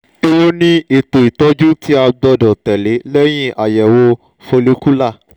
ewo ni eto itọju ti a gbọdọ tẹle lẹhin ayẹwo follicular?